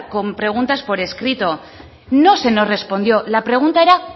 con preguntas por escrito no se nos respondió la pregunta era